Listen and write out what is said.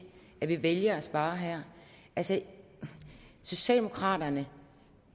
at vi vælger at spare her altså socialdemokraterne